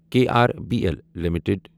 K R B L limited